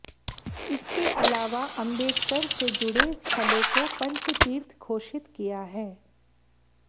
इसके अलावा अंबेडकर से जुडे स्थलों को पंचतीर्थ घोषित किया है